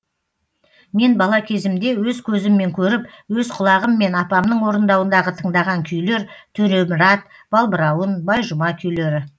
мен бала кезімде өз көзіммен көріп өз құлағыммен апамның орындауындағы тыңдаған күйлер төремұрат балбырауын байжұма күйлері